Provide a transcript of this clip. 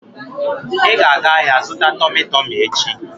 Ị ga-aga ahịa zụta Tọmị Tọmị echi!